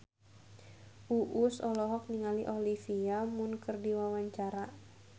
Uus olohok ningali Olivia Munn keur diwawancara